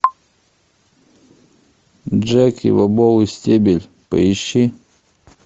джеки бобовый стебель поищи